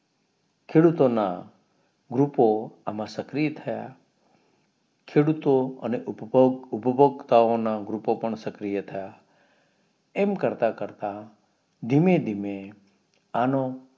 ખેડૂતો ના ગ્રૂપો એમાં સક્રિય થયા ખેડૂતો અને ઉપભોગ ઉપભોગતાઓના ગ્રુપો પણ સક્રિય થયા એમ કરતા કરતા ધીમે ધીમે એનો